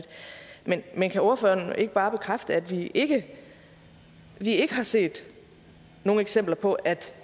men kan ordføreren ikke bare bekræfte at vi ikke vi ikke har set nogen eksempler på at